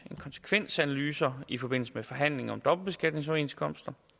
konsekvensanalyser i forbindelse med forhandlinger om dobbeltbeskatningsoverenskomster